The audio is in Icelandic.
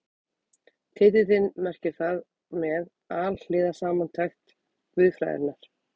Titillinn merkir þar með Alhliða samantekt guðfræðinnar.